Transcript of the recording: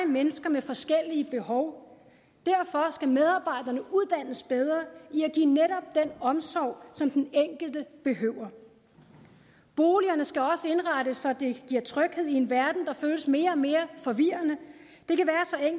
mennesker med forskellige behov derfor skal medarbejderne uddannes bedre i at omsorg som den enkelte behøver boligerne skal også indrettes så de giver tryghed i en verden der føles mere og mere forvirrende